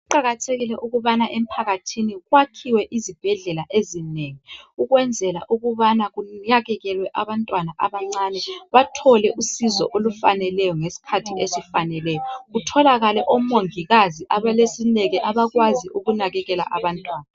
Kuqakathekile ukubana emphakathini kwakhiwe izibhedlela ezinengi ukwenzela ukubana kunakekelwe abantwana abancane bathole usizo olufaneleyo ngesikhathi esifaneleyo, kutholakale omongikazi abalesineke abakwazi ukunakekela abantwana.